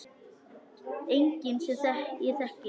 Enginn sem ég þekki.